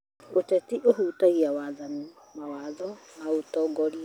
ũteti ũhutagia waathani, mawatho, na ũtongoria